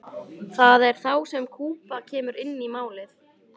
það er þá sem kúba kemur inn í málið